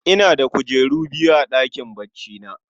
Ina da kujeru biyu a ɗakin baccina